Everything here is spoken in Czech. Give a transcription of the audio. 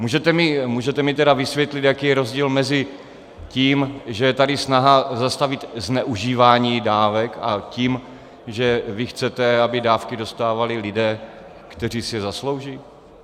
Můžete mi tedy vysvětlit, jaký je rozdíl mezi tím, že je tady snaha zastavit zneužívání dávek, a tím, že vy chcete, aby dávky dostávali lidé, kteří si je zaslouží?